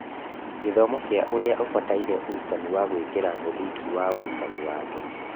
Gĩthomo kĩa Ũrĩa Ũbataire ũrutani wa gwĩkĩra mũthingi wa ũrutani wake,